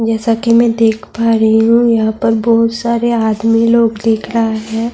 جیسا کہ میں دیکھ پا رہی ہوں یہاں پر بہت سارے ادمی لوگ دیکھ رہے ہیں -